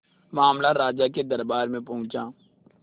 मामला राजा के दरबार में पहुंचा